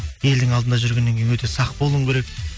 елдің алдында жүргеннен кейін өте сақ болуың керек